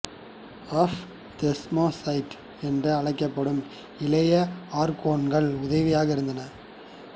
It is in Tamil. ஆஃப் தெஸ்மோதெட்ஸ் என்று அழைக்கப்படும் இளைய ஆர்கோன்கள் உதவியாக இருந்தனர்